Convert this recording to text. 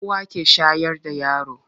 Uwa ke shayar da yara.